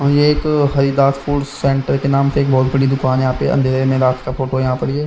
और ये एक हरिदासपुर सेंटर के नाम से एक बहोत बड़ी दुकान यहां पे अंधेरे में रात का फोटो यहां पर ये--